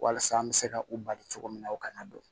Walasa an bɛ se ka u bali cogo min na u kana don